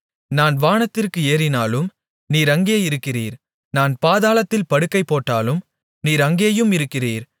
நான் வானத்திற்கு ஏறினாலும் நீர் அங்கே இருக்கிறீர் நான் பாதாளத்தில் படுக்கை போட்டாலும் நீர் அங்கேயும் இருக்கிறீர்